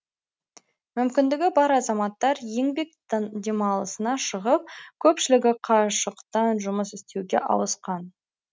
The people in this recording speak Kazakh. мүмкіндігі бар азаматтар еңбек демалысына шығып көпшілігі қашықтан жұмыс істеуге ауысқан